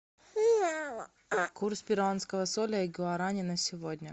курс перуанского соля и гуарани на сегодня